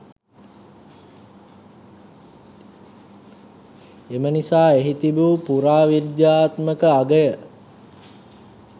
එම නිසා එහි තිබූ පුරාවිද්‍යාත්මක අගය